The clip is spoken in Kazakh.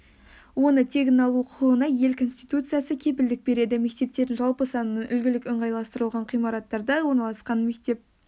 оны тегін алу құқығына ел конституциясы кепілдік береді мектептердің жалпы санының үлгілік ыңғайластырылған ғимараттарда орналасқан мектеп